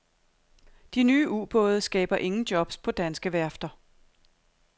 De nye ubåde skaber ingen jobs på danske værfter.